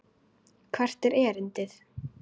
Hvert er erindi?